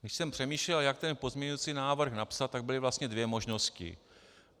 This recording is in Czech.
Když jsem přemýšlel, jak ten pozměňující návrh napsat, tak byly vlastně dvě možnosti.